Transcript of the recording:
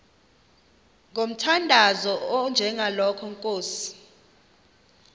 ngomthandazo onjengalo nkosi